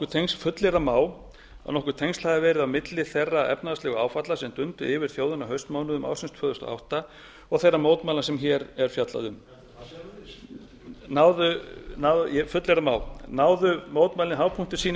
tengsl hafi verið á milli þeirra efnahagslegu áfalla sem dundu yfir þjóðina á haustmánuðum ársins tvö þúsund og átta og þeirra mótmæla sem hér er fjallað um fullyrða má náðu mótmælin hápunkti sínum